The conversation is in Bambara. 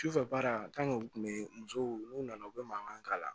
Sufɛ baara u tun bɛ musow n'u nana u bɛ mankan k'a la